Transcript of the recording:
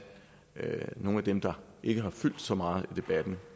nogle af dem der ikke har fyldt så meget i debatten